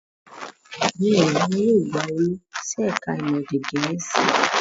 Bẹ́ẹ̀ ni, wọn yóò gba Olú sí ẹ̀ka-ìmọ̀ èdè Gẹ̀ẹ́sì.